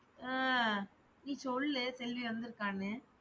அஹ் நீ சொல்லு செல்வி வந்துருக்கானு.